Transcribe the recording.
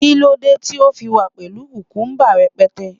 kilode ti o fi wa pẹlu kukumba rẹpẹtẹ